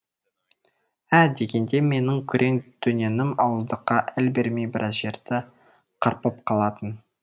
ә дегенде менің күрең дөненім ауыздыққа әл бермей біраз жерді қарпып қалатын